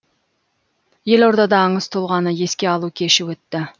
елордада аңыз тұлғаны еске алу кеші өтті